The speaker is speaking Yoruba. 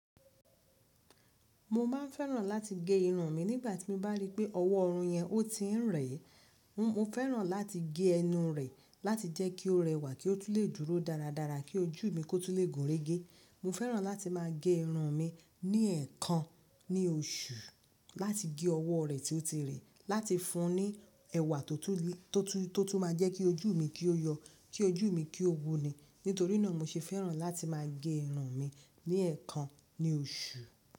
Mo máa ń fẹ́ràn láti gé irun mi nígbà tí n bá rí pé ọwọ́ irun yẹn ó ti ń rẹ̀. N mo fẹ́ràn láti gé ẹnu rẹ̀ láti jẹ́ kí ó rẹwà kí ó tún lè dúró dáradára kí ojú mi kó tó lè gúnrégé. Mo fẹ́ràn láti máa gé irun mi ní ẹ̀ẹ̀kan ní oṣù láti gé ọwọ́ rẹ̀ tí ó ti rẹ̀ láti fún un ní ẹwà tó tún le, tó tú, tó tún máa jẹ́ kí ojú mi kí ó yọ, kí ojú mi kí ó wuni. Nítorí náà mo ṣe fẹ́ràn láti máa gé irun mi ní ẹ̀ẹ̀kan ní oṣù.